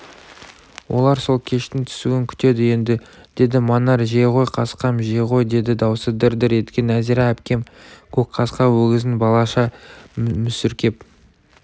олар сол кештің түсуін күтеді енді деді манар жей ғой қасқам жей ғой дейді даусы дір-дір еткен нәзира әпкем көк қасқа өгізін балаша мүсіркеп